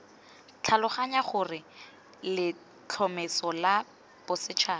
tlhaloganya gore letlhomeso la bosetšhaba